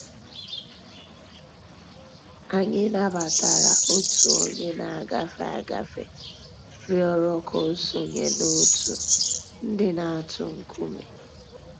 Anyị̀ nabatara Ọ̀tù ònyè nà-àgàfé àgàfé rị̀ọrọ̀ kà ò sọǹyé n'òtù ńdí nà-àtụ̀ ńkùmé̀